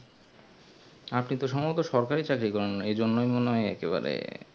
আপনি তো সম্ভমত সরকারি চাকরি করেন এই জন্যে মনে হয় এককে বাড়ে